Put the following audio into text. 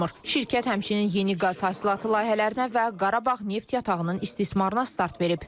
Şirkət həmçinin yeni qaz hasilatı layihələrinə və Qarabağ neft yatağının istismarına start verib.